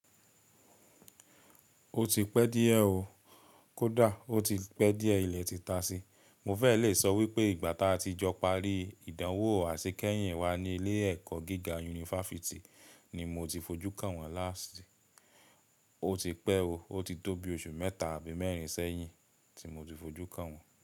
Ó ti pẹ́ díẹ̀ ó, kódà ó ti pẹ́ díẹ̀ ilẹ̀ ti ta sí. Mo fẹ́ lè sọ wípé ìgbà táa ti jọ pari, ìdánwò àṣekẹ́yìn wa ní ilé ẹ̀kọ́ gíga yunifásítì ni mo ti fi ojú kàn wọ́n last. Ó ti pẹ́ ó, ó ti tó bí oṣù mẹ́ta àbí mẹ́rin sẹ́yìn tí mo ti fi ojú kàn wọ́n.